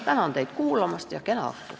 Tänan teid kuulamast ja kena õhtut!